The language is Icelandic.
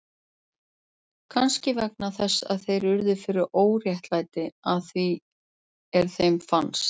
Kannski vegna þess að þeir urðu fyrir óréttlæti, að því er þeim fannst.